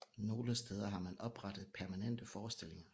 Nogle steder har man oprettet permanente forestillinger